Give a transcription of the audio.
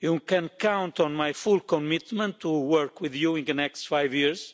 You can count on my full commitment to work with you in the next five years